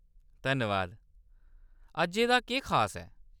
धन्नबाद। अज्जै दा खास केह् ऐ ?